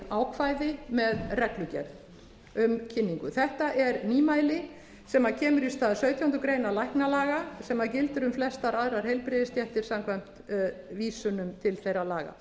ákvæði með reglugerð um kynningu þetta er nýmæli sem kemur í stað sautjándu grein læknalaga sem gildir um flestar aðrar heilbrigðisstéttir samkvæmt vísunum til þeirra laga